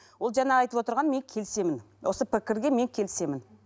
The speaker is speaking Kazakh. ол жаңа айтып отырғаны мен келісемін осы пікірге мен келісемін